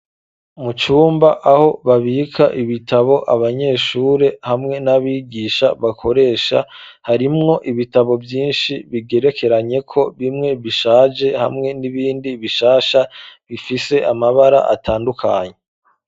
Mu cumba aho babika ibitabo abanyeshuri hamwe n'abigisha bakoresha, harimwo ibitabo vyinshi bigerekeranyeko, bimwe bishaje hamwe n'ibindi bishasha bifise amabara atandukanye.